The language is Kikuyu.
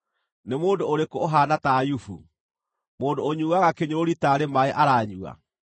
Nĩ mũndũ ũrĩkũ ũhaana ta Ayubu, mũndũ ũnyuuaga kĩnyũrũri taarĩ maaĩ aranyua?